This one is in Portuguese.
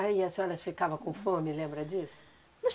Aí a senhoras ficava com fome, lembra disso? Mas